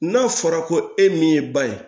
N'a fɔra ko e min ye ba ye